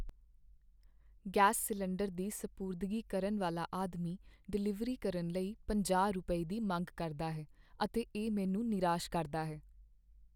Gas cylinder ਦੀ ਸਪੁਰਦਗੀ ਕਰਨ ਵਾਲਾ ਆਦਮੀ ਡਿਲੀਵਰੀ ਕਰਨ ਲਈ ਪੰਜਾਹ ਰੁਪਏ, ਦੀ ਮੰਗ ਕਰਦਾ ਹੈ ਅਤੇ ਇਹ ਮੈਨੂੰ ਨਿਰਾਸ਼ ਕਰਦਾ ਹੈ।